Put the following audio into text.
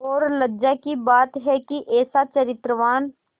और लज्जा की बात है कि ऐसा चरित्रवान